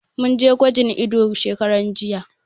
Mun je gwajin ido shekaran jiya.